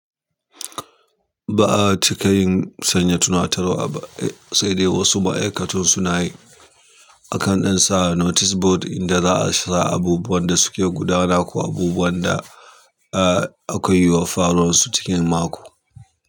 Ba a cika yin sanya tunatarwa ba, sai dai wasu ma'aikatun suna yi a kan ɗan sa notice board inda za a sa abubuwan da suke gudana ko abubuwan da akwai yiwuwar faruwar su cikin mako.